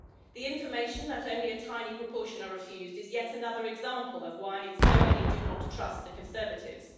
The information that only a tiny proportion are refused is yet another example of why so many do not trust the Conservatives.